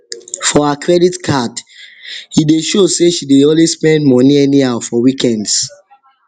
for her credit card e dey show say she dey always spend money anyhow for weekends